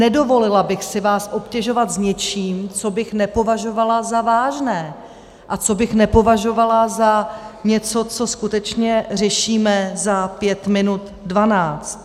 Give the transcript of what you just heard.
Nedovolila bych si vás obtěžovat s něčím, co bych nepovažovala za vážné a co bych nepovažovala za něco, co skutečně řešíme za pět minu dvanáct.